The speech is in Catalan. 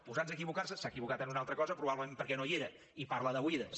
posats a equivocar se s’ha equivocat en una altra cosa probablement perquè no hi era i parla d’oïdes